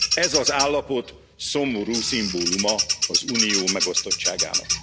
Ez az állapot szomorú szimbóluma az Unió megosztottságának.